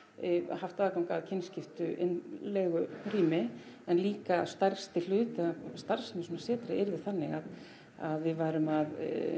haft aðgang að kynskiptu innlegurými en líka stærsti hlutinn af starfsemi í svona setri yrði þannig að við værum að